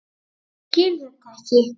Skil þetta ekki.